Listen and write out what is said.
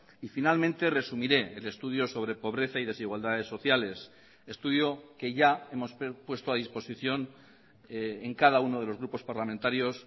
y finalmente resumiré el estudio sobre pobreza y desigualdades sociales estudio que ya hemos puesto a disposición en cada uno de los grupos parlamentarios